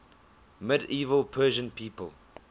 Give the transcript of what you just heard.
medieval persian people